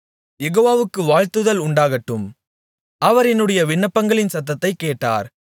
யெகோவாவுக்கு வாழ்த்துதல் உண்டாகட்டும் அவர் என்னுடைய விண்ணப்பங்களின் சத்தத்தைக் கேட்டார்